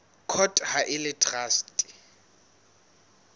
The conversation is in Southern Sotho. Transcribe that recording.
court ha e le traste